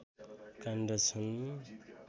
काण्ड छन्